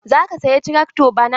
Za ka saya trakto bana?